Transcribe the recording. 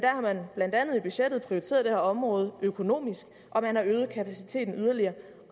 blandt andet i budgettet prioriteret det her område økonomisk og man har øget kapaciteten yderligere